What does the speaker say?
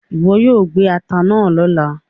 iwọ yoo gbé atá náa lọla!